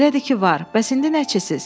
Elədir ki var, bəs indi nəçisiz?